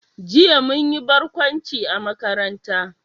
Jiya mun yi barkwanci a makaranta